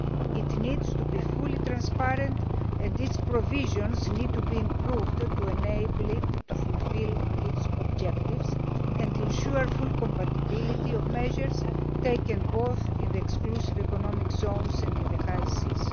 It needs to be fully transparent and its provisions need to be improved to enable it to fulfil its objectives and ensure full compatibility of measures taken both in the exclusive economic zones and in the high seas.